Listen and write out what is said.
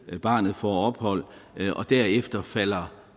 barnet får ophold og derefter falder